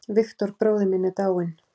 Victor bróðir minn er dáinn.